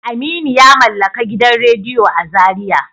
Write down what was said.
Aminu yamallaka gidan radiyo a zariya.